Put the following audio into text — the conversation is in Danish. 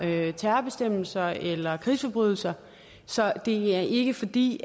terrorbestemmelser eller krigsforbrydelser så det er ikke fordi